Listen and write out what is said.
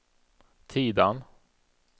Tidan